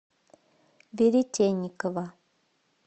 веретенникова